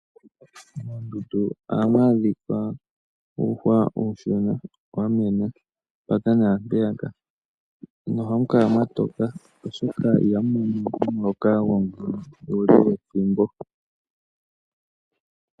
Mondundu ohamwadhika uuhwa uushona wamwena paka nampeyaka nohakukala mwatoka oshoka ihamono omuloka gomvula uule wethimbo.